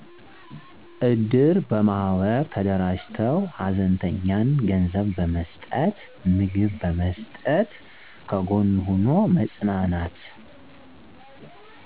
እድር በማህበር ተደራጅተው ሀዘንተኛን ገንዘብ በመስጠት ምግብ በመስጠት ከጎን ሁኖ መጽናናት